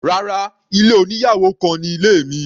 Rárá, ilé oníyàwò kan ni ilé mi.